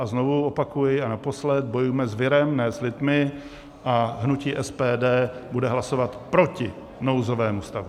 A znovu opakuji, a naposledy: bojujme s virem, ne s lidmi, a hnutí SPD bude hlasovat proti nouzovému stavu.